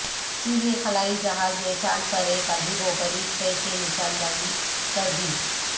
چینی خلائی جہاز نے چاند پر ایک عجیب و غریب شے کی نشاندہی کر دی